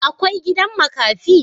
Akwai gidan makafi?